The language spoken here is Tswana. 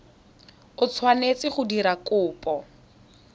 o tshwanetseng go dira kopo